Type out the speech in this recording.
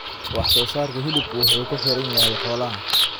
Wax-soo-saarka hilibku wuxuu ku xiran yahay xoolaha.